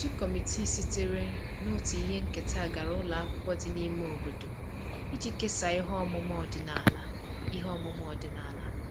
Otu kọmitii sitere na otu ihe nketa gara ụlọ akwụkwọ dị n'ime obodo iji kesaa ihe ọmụma ọdịnala ihe ọmụma ọdịnala